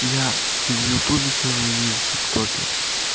я и в ютубе сижу и в тик токе